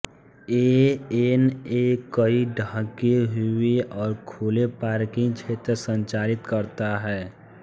ANA कई ढके हुए और खुले पार्किंग क्षेत्र संचालित करता है